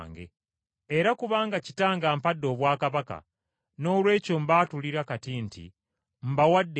era kubanga Kitange ampadde obwakabaka, noolwekyo mbaatulira kati nti mbawadde ekifo